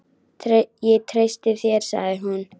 Ég treysti þér sagði hún.